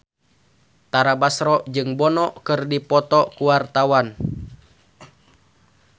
Tara Basro jeung Bono keur dipoto ku wartawan